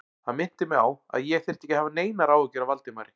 Hann minnti mig á, að ég þyrfti ekki að hafa neinar áhyggjur af Valdimari